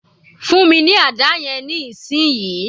Fún mi ní àdá yẹn ní ìsìn yìí